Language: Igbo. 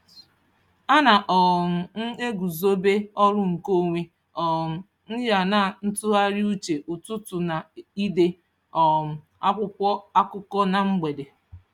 Ana um m eguzobe ọrụ nke onwe um m ya na ntụgharịuche ụtụtụ na ide um akwụkwọ akụkọ na mgbede.